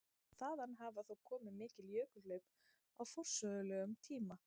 Þaðan hafa þó komið mikil jökulhlaup á forsögulegum tíma.